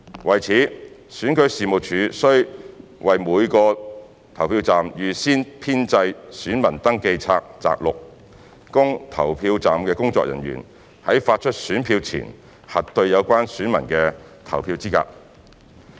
為此，選舉事務處須為每個投票站預先編製選民登記冊摘錄，供投票站的工作人員在發出選票前核對有關選民的投票資格。